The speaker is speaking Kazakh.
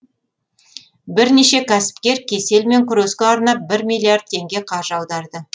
бірнеше кәсіпкер кеселмен күреске арнап бір миллиард теңге қаржы аударды